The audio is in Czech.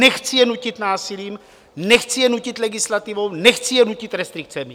Nechci je nutit násilím, nechci je nutit legislativou, nechci je nutit restrikcemi.